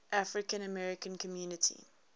african american community